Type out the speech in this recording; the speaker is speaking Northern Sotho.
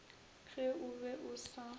ge o be o sa